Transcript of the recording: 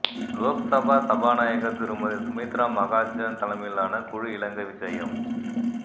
லோக்சபா சபாநாயகர் திருமதி சுமித்ரா மகாஜன் தலைமையிலான குழு இலங்கை விஜயம்